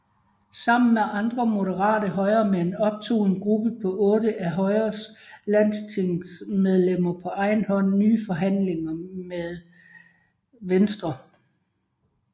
Sammen med andre moderate højremænd optog en gruppe på otte af Højres landstingsmedlemmer på egen hånd nye forhandlinger med Venstre